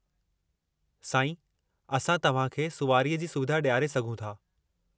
साईं, असां तव्हां खे सुवारीअ जी सुविधा ॾियारे सघूं था।